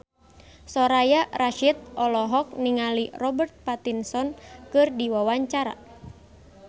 Soraya Rasyid olohok ningali Robert Pattinson keur diwawancara